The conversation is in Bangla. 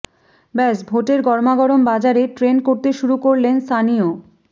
ব্যস ভোটের গরামাগরম বাজারে ট্রেন্ড করতে শুরু করলেন সানিও